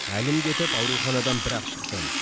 әлім кетіп ауруханадан бір ақ шықтым